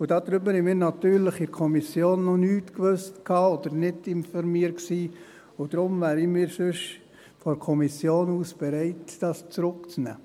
Davon wussten wir natürlich in der Kommission noch nichts, oder waren nicht informiert, und deshalb wären wir von der Kommission aus bereit, das zurückzunehmen.